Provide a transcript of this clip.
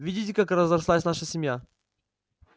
видите как разрослась наша семья